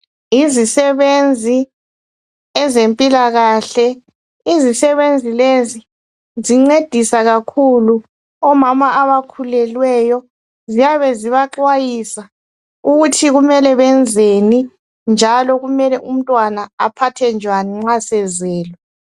Yizisebenzi, ezempilakahle. Izisebenzi lezi zincedisa kakhulu omama abakhulelweyo, ziyabe zibaxwayisa ukuthi kumele benzeni njalo kumele umntwana aphathwe njwani nxa sezelwe.